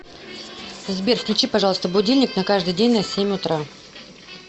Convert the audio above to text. сбер включи пожалуйста будильник на каждый день на семь утра